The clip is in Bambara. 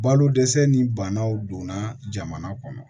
Balo dɛsɛ ni banaw donna jamana kɔnɔ